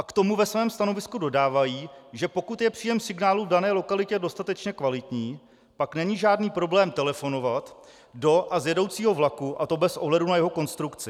A k tomu ve svém stanovisku dodávají, že pokud je příjem signálu v dané lokalitě dostatečně kvalitní, pak není žádný problém telefonovat do a z jedoucího vlaku, a to bez ohledu na jeho konstrukci.